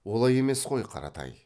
олай емес қой қаратай